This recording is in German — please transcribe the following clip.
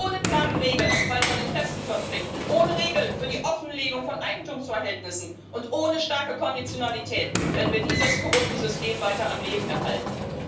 Ohne klare Regeln im Fall von Interessenkonflikten, ohne Regeln für die Offenlegung von Eigentumsverhältnissen und ohne starke Konditionalität werden wir dieses korrupte System weiter am Leben erhalten.